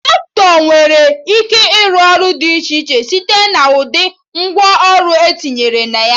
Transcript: Traktọ nwere ike ịrụ ọrụ dị iche iche site na ụdị ngwa ọrụ etinyere na ya